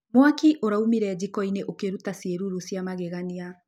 Mwakĩ ũraũmĩre jĩkoĩnĩ ũkĩrũta cĩerũrũ cĩa mageganĩa.